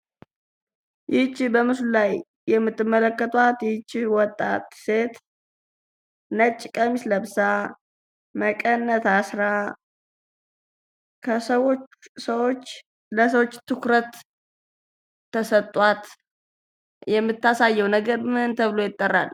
ይቺ በምስሉ ላይ የምትመለከቷት ይቺ ወጣት ሴት ነጭ ቀሚስ ለብሳ፤ መቀነት አስራ ከሰዎች ትኩረት ተሰጧት የምታሳየው ነገር ምን ተብሎ ይጠራል።